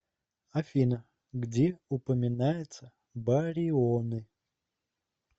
афина где упоминается барионы